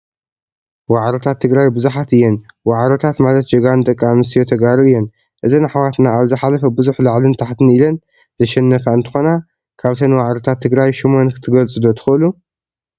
ዋዕሮታት ትግራይ ብዙሓት እየን፡፡ ዋዕሮታት ማለት ጀጋኑ ደቂ አንስትዮ ተጋሩ እየን፡፡ እዘን አሕዋትና አብ ዝሓለፈ ብዙሕ ላዕልን ታሕቲን ኢለን ዘሸነፋ እንትኮና፣ ካብተን ዋዕሮታት ትግራይ ሹመን ክትገልፁ ዶ ትክእሉ?